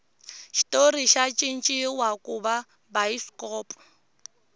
xitori xa cinciwa kuva bayisikopo